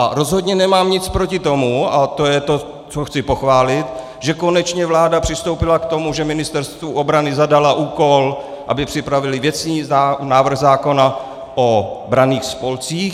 A rozhodně nemám nic proti tomu - a to je to, co chci pochválit - že konečně vláda přistoupila k tomu, že Ministerstvu obrany zadala úkol, aby připravilo věcný návrh zákona o branných spolcích.